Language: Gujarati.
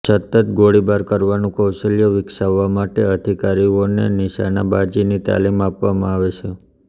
સચોટ ગોળીબાર કરવાનું કૌશલ્ય વિકસાવવા માટે અધિકારીઓને નિશાનબાજીની તાલીમ આપવામાં આવે છે